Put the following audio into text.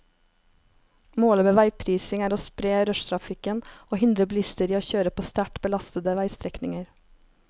Målet med veiprising er å spre rushtrafikken og hindre bilister i å kjøre på sterkt belastede veistrekninger.